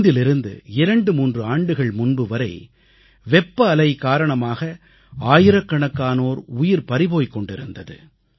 இன்றிலிருந்து 23 ஆண்டுகள் முன்புவரை வெப்ப அலை காரணமாக ஆயிரக்கணக்கானோர் உயிர் பறிபோய்க் கொண்டிருந்தது